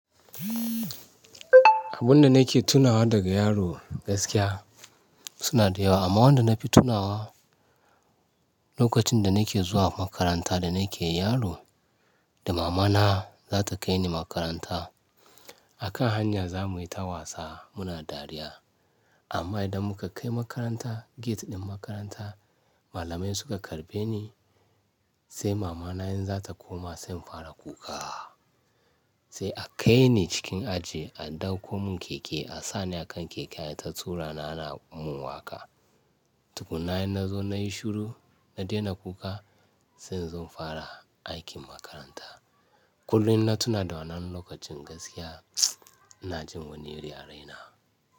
Abun da nake tunawa daga yaro gaskiya suna dayawa amma wanda nafi tunawa lokacin da nake zuwa makaranta da nake yaro da mama na zata kaini makaranta. A kan hanya zamuyi ta wasa muna dariya amma idan muka kai makaranta gate din makaranta malamai suka karbe ni sai mama na in za ta koma sai in fara kuka. Sai a kai ni cikin aji a ɗauko mun keke a sa ni a kan keke ayi ta turani ana mun waƙa. Tukunna in nazo nayi shuru na daina kuka sai in zo in fara aikin makaranta. Kullum na tuna da wannan lokacin gaskiya na jin wane yarina.